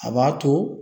A b'a to